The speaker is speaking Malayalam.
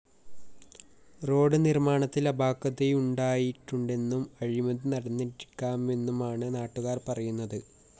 റോഡ്‌ നിര്‍മ്മാണത്തില്‍ അപാകതയുണ്ടായിട്ടുണ്ടെന്നും അഴിമതി നടന്നിരിക്കാമെന്നുമാണ് നാട്ടുകാര്‍ പറയുന്നത്